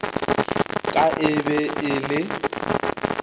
ka e be e le